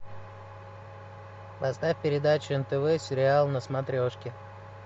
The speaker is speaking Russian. поставь передачу нтв сериал на смотрешке